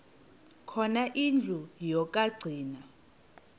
khona indlu yokagcina